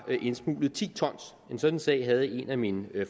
er indsmuglet ti ton en sådan sag havde en af min